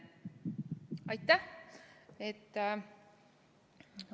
Aitäh!